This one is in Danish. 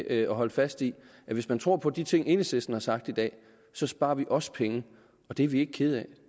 at holde fast i at hvis man tror på de ting enhedslisten har sagt i dag så sparer vi også penge og det er vi ikke kede af